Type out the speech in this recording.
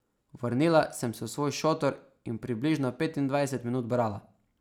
Vrnila sem se v svoj šotor in približno petindvajset minut brala.